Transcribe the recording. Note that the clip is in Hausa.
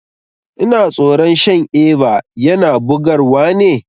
Ina tsoron shan Eva, yana bugar wa ne?